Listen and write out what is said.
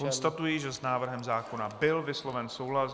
Konstatuji, že s návrhem zákona byl vysloven souhlas.